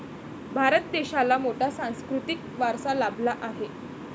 भारत देशाला मोठा सांस्कृतिक वारसा लाभला आहे.